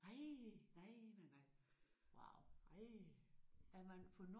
Nej! Nej nej nej. Nej